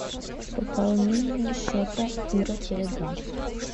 пополнение счета ира теле два